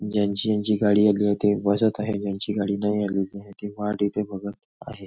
ज्यांची ज्यांची गाडी आली आहे ते बसत आहे ज्यांची गाडी नाही आली ते हे वाट एथे बघत आहेत.